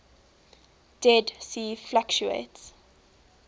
dead sea fluctuates